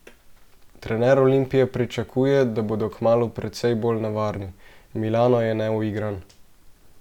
Trener Olimpije pričakuje, da bodo kmalu precej bolj nevarni: "Milano je neuigran.